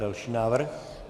Další návrh.